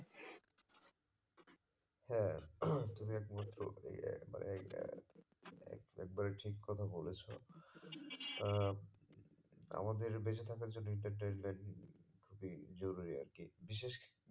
হ্যাঁ তুমি একমাত্র এই এ মানে এই এ একবারে ঠিক কথা বলেছো আহ আমাদের বেঁচে থাকার জন্য entertainment খুবই জরুরি আর কি বিশেষ